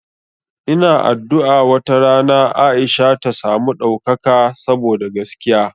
Ina addu'a wata rana Aisha ta samu ɗaukaka saboda gaskiya.